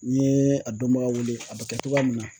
N ye a dɔnbaga wele, a bɛ kɛ cogoya min na .